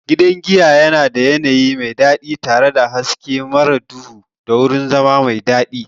Gidan giyan yana da yanayi mai daɗi tare da hasken mar duhu da wurin zama mai daɗi.